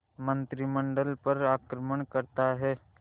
मंत्रिमंडल पर आक्रमण करता है